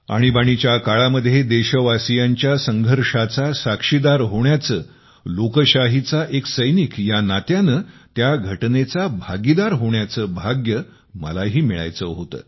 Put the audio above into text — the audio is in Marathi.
आणीबाणीच्या काळामध्ये देशवासियांच्या संघर्षाचे साक्षीदार होण्याचे लोकशाहीचा एक सैनिक या नात्याने या घटनेचा भागीदार होण्याचे भाग्य मलाही मिळायचे होते